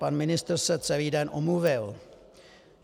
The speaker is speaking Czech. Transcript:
Pan ministr se celý den omluvil.